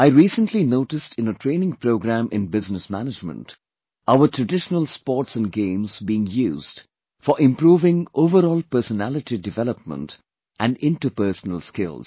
I recently noticed in a training programme in Business Management, our traditional sports and games being used for improving overall personality development and interpersonal skills